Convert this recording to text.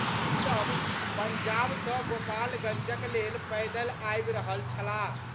ई सभ पंजाब सँ गोपालगंजक लेल पैदल आबि रहल छलाह।